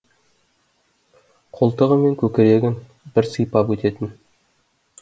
қолтығы мен көкірегін бір сыйпап өтетін